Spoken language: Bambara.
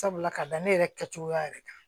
Sabula ka da ne yɛrɛ kɛcogoya yɛrɛ kan